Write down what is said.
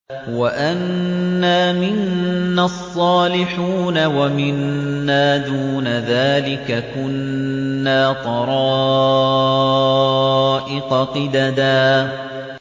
وَأَنَّا مِنَّا الصَّالِحُونَ وَمِنَّا دُونَ ذَٰلِكَ ۖ كُنَّا طَرَائِقَ قِدَدًا